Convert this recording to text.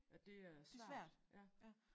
At det er svært ja